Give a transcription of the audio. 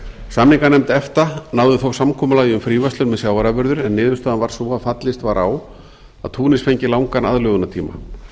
samninganefnd efta náði þó samkomulagi um fríverslun með sjávarafurðir en niðurstaðan varð sú að fallist var á að túnis fengi langan aðlögunartíma